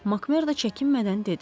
Makmerdo çəkinmədən dedi.